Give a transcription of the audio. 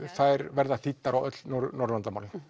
verða þýddar á öll norðurlandamálin